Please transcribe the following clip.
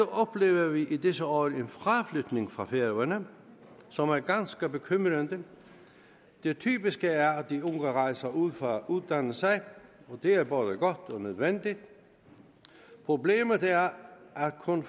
oplever vi i disse år en fraflytning fra færøerne som er ganske bekymrende det typiske er at de unge rejser ud for at uddanne sig og det er både godt og nødvendigt problemet er at kun